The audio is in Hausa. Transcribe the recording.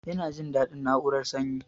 Yana jin dadin na'urar sanyin